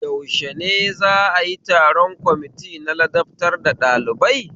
Yaushe ne za'a yi taron kwamiti na ladabtar da ɗalibai?